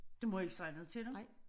Du må ikke sige noget til dem